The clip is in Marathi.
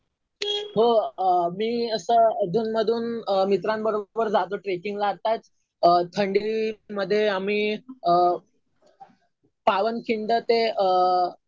हो. मी असं अधून मधून मित्रांबरोबर जातो ट्रेकिंग ला. आताच थंडीमध्ये आम्ही पावनखिंड ते